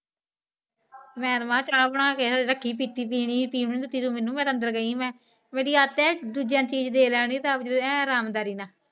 ਮੈ ਤਾ ਆਪ ਚ ਬਣਾ ਕੇ ਰਾਖੀ ਪੀਤੀ ਪੀਣੀ ਪੀਵਾ ਗਾਏ ਕਦੋ ਮੇਨੂ ਮੈ ਤਾ ਅੰਦਰ ਗਈ ਮੈ ਮੇਰੀ ਆਦਤ ਏ ਦੁਜਇਆ ਨੂ ਚੀਜ ਦੇਣ ਲੇਨ ਦੀ ਏ ਰਾਮ ਦਾਰੀ ਨਾਲ